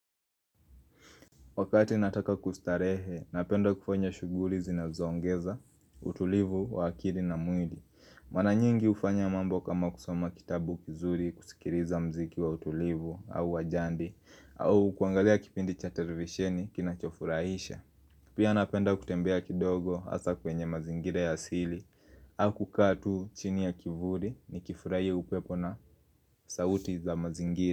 Wakati nataka kustarehe, napenda kufanya shughuli zinazo ongeza, utulivu, wa akili na mwili Mara nyingi hufanya mambo kama kusoma kitabu kizuri kusikiliza muziki wa utulivu au wajadi au kuangalia kipindi cha televisheni kinachofurahisha Pia napenda kutembea kidogo hasa kwenye mazingira ya asili au kukaa tu chini ya kivuli nikifurahia upepo na sauti za mazingira.